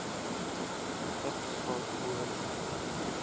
vigs swak lewensstyle